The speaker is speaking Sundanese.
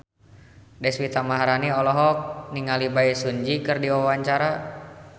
Deswita Maharani olohok ningali Bae Su Ji keur diwawancara